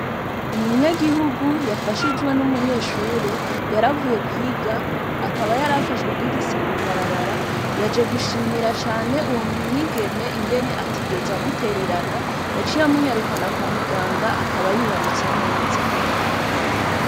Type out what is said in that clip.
Umunyagihugu yafashijwe n'umunyeshure yaravuye kwiga akaba yarafashwe n'igise mwibarabara yaje gushimira cane uwo mwigeme ingene atigeze amuterarana yaciye amunyarukana kwa muganga akaba yibarutse neza.